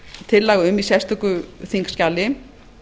tillaga um í sérstöku þingskjali